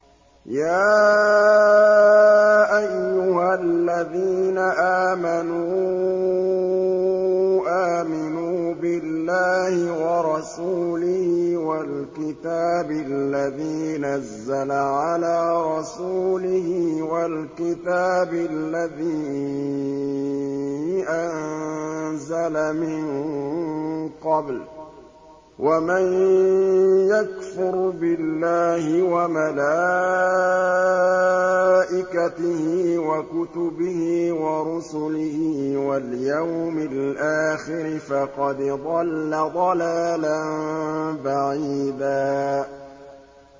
يَا أَيُّهَا الَّذِينَ آمَنُوا آمِنُوا بِاللَّهِ وَرَسُولِهِ وَالْكِتَابِ الَّذِي نَزَّلَ عَلَىٰ رَسُولِهِ وَالْكِتَابِ الَّذِي أَنزَلَ مِن قَبْلُ ۚ وَمَن يَكْفُرْ بِاللَّهِ وَمَلَائِكَتِهِ وَكُتُبِهِ وَرُسُلِهِ وَالْيَوْمِ الْآخِرِ فَقَدْ ضَلَّ ضَلَالًا بَعِيدًا